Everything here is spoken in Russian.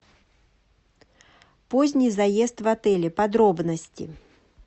поздний заезд в отеле подробности